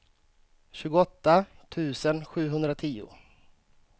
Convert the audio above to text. tjugoåtta tusen sjuhundratio